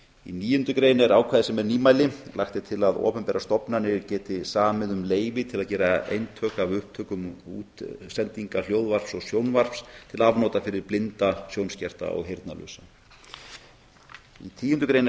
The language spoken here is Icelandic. í níundu grein er ákvæði sem er nýmæli lagt er til að opinberar stofnanir geti samið um leyfi til að gera eintök af upptökum og útsendingum hljóðvarps og sjónvarps til afnota fyrir blinda sjónskerta og heyrnarlausa í tíundu grein er